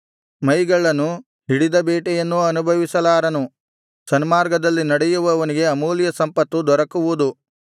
ಮೈಗಳ್ಳನು ಹಿಡಿದ ಬೇಟೆಯನ್ನೂ ಅನುಭವಿಸಲಾರನು ಸನ್ಮಾರ್ಗದಲ್ಲಿ ನಡೆಯುವವನಿಗೆ ಅಮೂಲ್ಯ ಸಂಪತ್ತು ದೊರಕುವುದು